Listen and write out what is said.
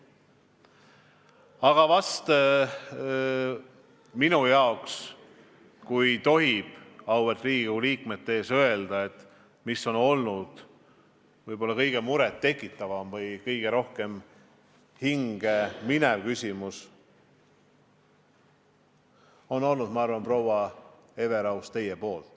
Aga minu jaoks, kui tohib seda auväärt Riigikogu liikmete ees öelda, oli kõige enam muret tekitav ja kõige rohkem hinge minev küsimus, proua Everaus, teie esitatud küsimus.